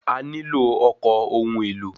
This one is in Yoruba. A nílò ọkọ̀ ohun èlò.